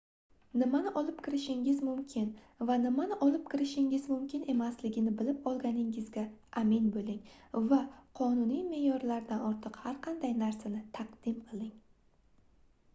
nimani olib kirishingiz mumkin va nimani olib kirishingiz mumkin emasligini bilib olganingizga amin boʻling va qonuniy meʼyorlardan ortiq har qanday narsani taqdim qiling